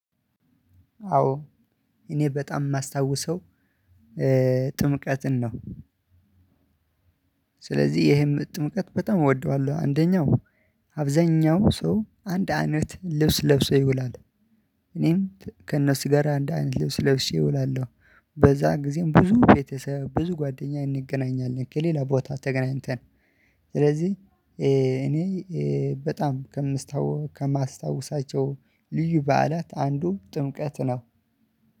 አዎ እኔ በጣም የማስታውሰው ጥምቀትን ነው። ስለዚህ ይሄን ጥምቀት በጣም እወደዋለሁ። አንደኛው አብዛኛው ሰው አንድ አይነት ልብስ ለብሶ ይውላል። እኔም ከእነሱ ጋር አንድ አይነት ልብስ ለብሼ እውላለሁ። በዛ ጊዜም ብዙ ቤተሰብ ብዙ ጓደኛ እንገናኛለን። ከሌላ ቦታ ተገናኝተን ስለዚህ እኔ በጣም ከማስታውሳቸው ልዩ በዓላት አንዱ ጥምቀት ነው።